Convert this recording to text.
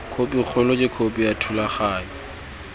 khopikgolo ke khopi ya thulaganyo